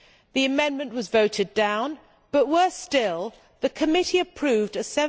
The amendment was voted down but, worse still, the committee approved a